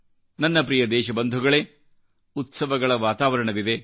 ನನ್ನ ಪ್ರಿಯ ದೇಶಬಂಧುಗಳೆಉತ್ಸವಗಳ ವಾತಾವರಣವಿದೆ